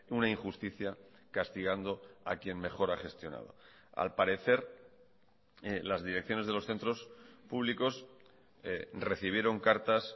una injusticia castigando a quien mejor ha gestionado al parecer las direcciones de los centros públicos recibieron cartas